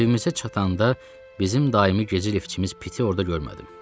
Evimizə çatanda bizim daimi gecə liftçimiz Piti orada görmədim.